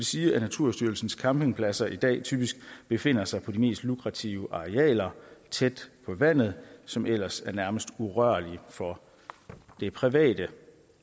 sige at naturstyrelsens campingpladser i dag typisk befinder sig på de mest lukrative arealer tæt på vandet som ellers er nærmest urørlige for det private